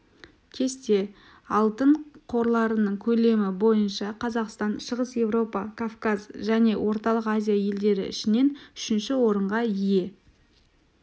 кесте алтын қорларының көлемі бойынша қазақстан шығыс европа кавказ және орталық азия елдері ішінен үшінші орынға ие